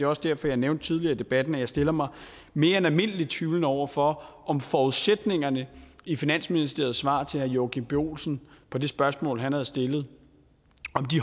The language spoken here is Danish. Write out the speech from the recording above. også derfor jeg nævnte tidligere i debatten at jeg stiller mig mere end almindeligt tvivlende over for om forudsætningerne i finansministeriets svar til herre joachim b olsen på det spørgsmål han havde stillet